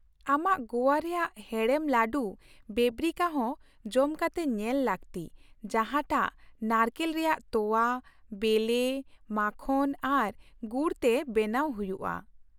ᱟᱢᱟᱜ ᱜᱚᱣᱟ ᱨᱮᱭᱟᱜ ᱦᱮᱲᱮᱢ ᱞᱟᱹᱰᱩ ᱵᱮᱵᱱᱤᱠᱟ ᱦᱚᱸ ᱡᱚᱢ ᱠᱟᱛᱮ ᱧᱮᱞ ᱞᱟᱹᱠᱛᱤ ᱡᱟᱦᱟᱸ ᱴᱟᱜ ᱱᱟᱲᱠᱮᱞ ᱨᱮᱭᱟᱜ ᱛᱳᱣᱟ, ᱵᱮᱞᱮ, ᱢᱟᱠᱷᱚᱱ ᱟᱨ ᱜᱩᱲ ᱛᱮ ᱵᱮᱱᱟᱣ ᱦᱩᱭᱩᱜᱼᱟ ᱾